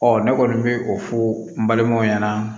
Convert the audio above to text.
Ɔ ne kɔni bɛ o fɔ n balimaw ɲɛna